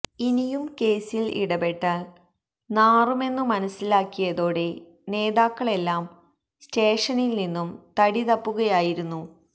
ഇനിയും കേസിൽ ഇടപെട്ടാൽ നാറുമെന്നു മനസിലാക്കിയതോടെ നേതാക്കളെല്ലാം സ്റ്റേഷനിൽ നിന്നും തടിതപ്പുകയായിരുന്നു